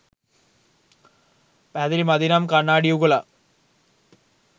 පැහැදිලි මදි නම් කන්නාඩි යුගලක්